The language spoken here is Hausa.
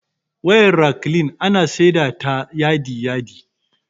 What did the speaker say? Wayar raklin ana saida ta yadi yadi